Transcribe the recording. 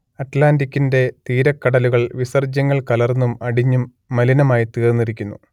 അറ്റ്‌ലാന്റിക്കിന്റെ തീരക്കടലുകൾ വിസർജ്യങ്ങൾ കലർന്നും അടിഞ്ഞും മലിനമായിത്തീർന്നിരിക്കുന്നു